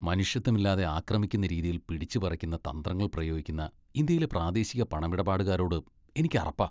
മനുഷ്യത്വമില്ലാതെ ആക്രമിക്കുന്ന രീതിയിൽ പിടിച്ച് പറിക്കുന്ന തന്ത്രങ്ങൾ പ്രയോഗിക്കുന്ന ഇന്ത്യയിലെ പ്രാദേശിക പണമിടപാടുകാരോട് എനിക്ക് അറപ്പാ.